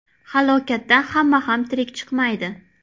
Halokatdan hamma ham tirik chiqmaydi.